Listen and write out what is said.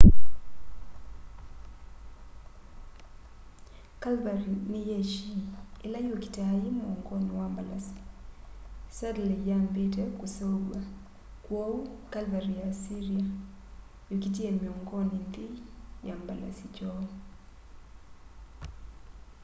cavalry ni yeshi ila yukitaa yi muongoni wa mbalasi saddle iyambite kuseuvwa kwoou cavalry ya assyria yokitie miongoni nthei ya mbalasi kyoo